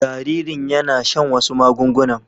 Jaririn yana shan wasu magungunan